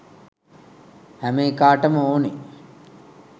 හැම එකාටම ඕනේ